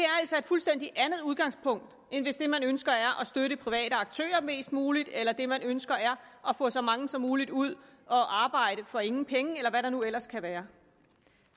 altså et fuldstændig andet udgangspunkt end hvis det man ønsker er at støtte private aktører mest muligt eller det man ønsker er at få så mange som muligt ud at arbejde for ingen penge eller hvad det nu ellers kan være